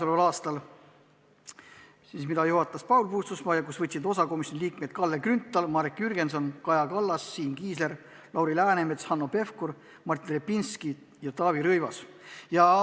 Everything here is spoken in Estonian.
Istungit juhatas Paul Puustusmaa, osa võtsid komisjoni liikmed Kalle Grünthal, Marek Jürgenson, Kaja Kallas, Siim Kiisler, Lauri Läänemets, Hanno Pevkur, Martin Repinski ja Taavi Rõivas.